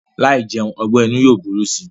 Láì jẹun ọgbẹ́-inú yóò burú si.